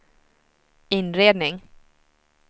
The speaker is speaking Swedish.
inredning